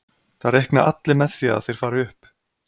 Það reikna allir með því að þeir fari upp.